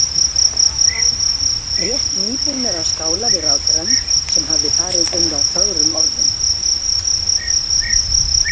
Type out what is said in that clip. Rétt nýbúnir að skála við ráðherrann sem hafði farið um þá fögrum orðum.